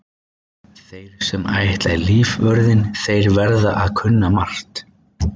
Þeir sem ætla í lífvörðinn þeir verða að kunna margt.